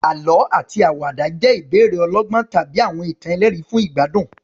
Àlọ́ àti àwàdà jẹ́ ìbéèrè ọlọ́gbọ́n tàbí àwọn ìtàn ẹlẹ́rìn-ín fún ìgbádùn.